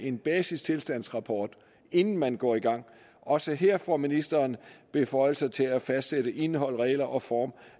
en basistilstandsrapport inden man går i gang også her får ministeren beføjelser til at fastsætte indhold regler og form